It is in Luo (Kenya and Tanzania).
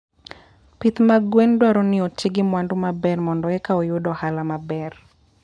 Pith mag gwen dwaro ni oti gi mwandu maber mondo eka oyud ohala maber.